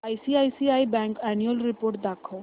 ICICI bank annual report दाखव